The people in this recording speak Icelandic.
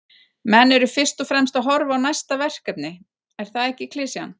Menn eru fyrst og fremst að horfa á næsta verkefni, er það ekki klisjan?